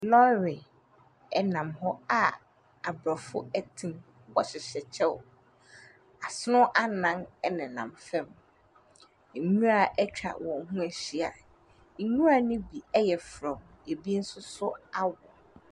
Lɔɔre nam hɔ a aborɔfo te mu, wɔhyehyɛ kyɛw. asono anan nenam hɔ. nwuara atwa wɔn ho ahyia, nwura ne bi yɛ frɔm, bi nso awo.